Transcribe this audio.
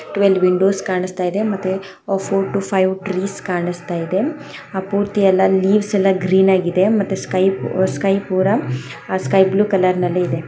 Twelve windows ಕಾಣಿಸ್ತಾ ಇದೆ ಮತ್ತು ಆ ಫೋರ್ ಟು ಫೈವ್ ಟ್ರೀಸ್ ಕಾಣಿಸ್ತಾ ಇದೆ ಆ ಪೂರ್ತಿ ಎಲ್ಲ ಲೀಫ್ಸ್ ಎಲ್ಲ ಗ್ರೀನ್ ಆಗಿದೆ ಮತ್ತೆ ಸ್ಕೈ ಪೊ ಸ್ಕೈ ಪೂರಾ ಸ್ಕೈ ಬ್ಲೂ ಕಲರ್ನಲ್ಲಿ ಇದೆ.